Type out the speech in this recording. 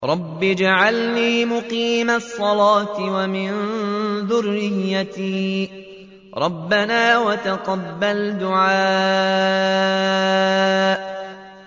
رَبِّ اجْعَلْنِي مُقِيمَ الصَّلَاةِ وَمِن ذُرِّيَّتِي ۚ رَبَّنَا وَتَقَبَّلْ دُعَاءِ